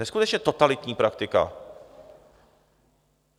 Neskutečně totalitní praktika.